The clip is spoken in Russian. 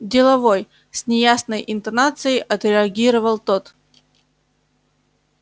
деловой с неясной интонацией отреагировал тот